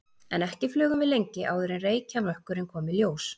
En ekki flugum við lengi áður en reykjarmökkurinn kom í ljós.